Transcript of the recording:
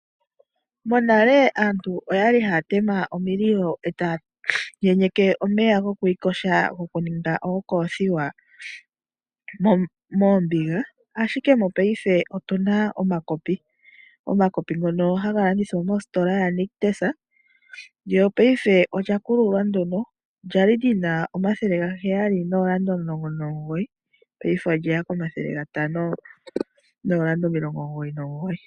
Monale aantu oyali haatema omililo etaayenyeke omeya gokwiiyoga gokuninga ookoothiwa moombiga ashike mongashingeyi otuna omakopi. Omakopi ngono haga landithwa mositola ya Nictus. Lyo ngashingeyi olyakululwa ndyono lyali lyina omathele gaheyali noolanda omulongo nomugoyi ngashingeyi olyeya komathele gatano noolanda omilongo omugoyi nomugoyi.